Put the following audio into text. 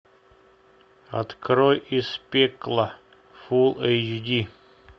открой из пекла фул эйч ди